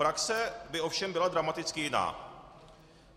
Praxe by ovšem byla dramaticky jiná.